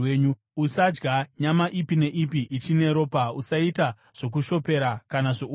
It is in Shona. “ ‘Usadya nyama ipi neipi ichine ropa. “ ‘Usaita zvokushopera kana zvouroyi.